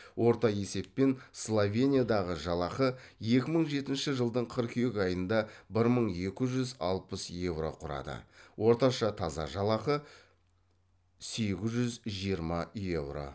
орта есеппен словениядағы жалақы екі мың жетінші жылдың қыркүйек айында бір мың екі жүз алпыс еуро құрады орташа таза жалақы сегіз жүз жиырма еуро